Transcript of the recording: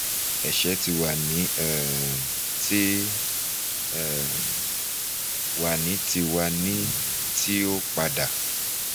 (ẹsẹ ti wa ni um ti um wa ni ti wa ni ti o pada)